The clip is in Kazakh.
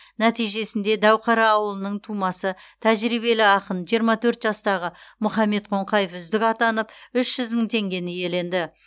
нәтижесінде дәуқара ауылының тумасы тәжірибелі ақын жиырма төрт жастағы мұхаммед қоңқаев үздік атанып үш жүз мың теңгені иеленді